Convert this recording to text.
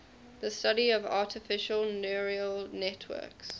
the study of artificial neural networks